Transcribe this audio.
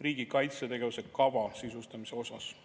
"riigi kaitsetegevuse kava" sisustamise osas.